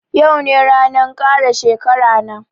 Yau ne ranan kara shekara na